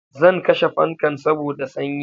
Zan kashe fankan saboda sanyi